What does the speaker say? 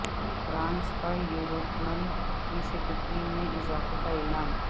France کا Euro tunnel کی security میں اضافے کا اعلان